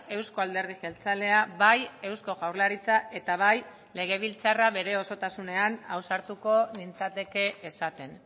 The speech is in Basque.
euzko alderdi jeltzalea bai eusko jaurlaritza eta bai legebiltzarra bere osotasunean ausartuko nintzateke esaten